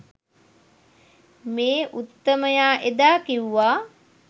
මේ උත්තමයා එදා කිව්ව